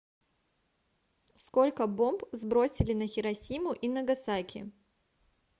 сколько бомб сбросили на хиросиму и нагасаки